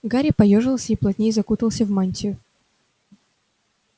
гарри поёжился и плотнее закутался в мантию